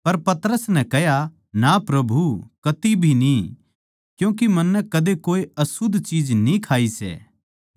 पर पतरस नै कह्या ना प्रभु कती भी न्ही क्यूँके मन्नै कदे कोए अशुध्द चीज न्ही खाई सै